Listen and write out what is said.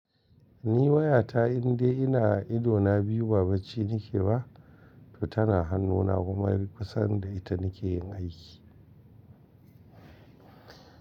Ni wayata in dai ina idona biyu ba bacci nake ba, to tana hannuna kuma kusan da ita nake yin aiki.